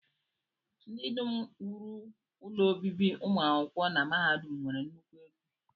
Ndị dum wuru ụlọ obibi ụmụ akwụkwọ na mahadum nwere nnukwu ego